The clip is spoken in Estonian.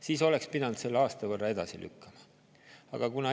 Siis oleks pidanud selle aasta võrra edasi lükkama.